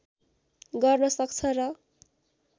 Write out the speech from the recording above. गर्न सक्छ र